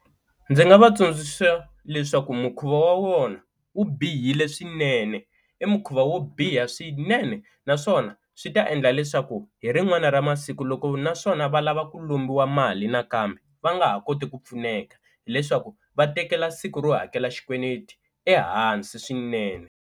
Ndzi nga va tsundzuxa leswaku mukhuva wa vona wu bihile swinene i mukhuva wo biha swinene naswona swi ta endla leswaku hi rin'wana ra masiku loko naswona va lava ku lombiwa mali nakambe, va nga ha koti ku pfuneka hileswaku va tekela siku ro hakela xikweleti ehansi swinene.